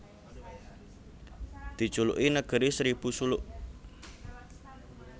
Dijuluki Negeri Seribu Suluk